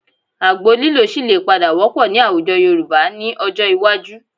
Àgbo lílò ṣì lè padà wọ́pọ̀ ní àwùjọ Yorùbá ní ọjọ́ iwájú